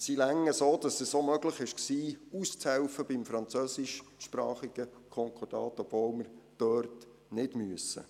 Sie reichen soweit, dass es auch möglich war, beim französischsprachigen Konkordat auszuhelfen, obwohl wir dort nicht müssen.